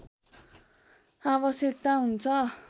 आवश्यकता हुन्छ